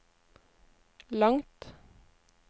langt